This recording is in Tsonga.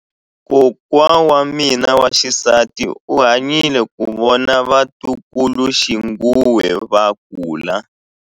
Kokwa wa mina wa xisati u hanyile ku vona vatukuluxinghuwe va kula.